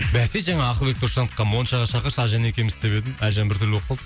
бәсе жаңа ақылбек досжановқа моншаға шақыршы әлжан екеумізді деп едім әлжан біртүрлі болып қалды